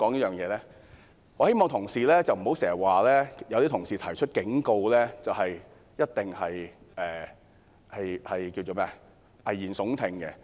我希望同事不要經常說，反對派提出警告就一定是危言聳聽。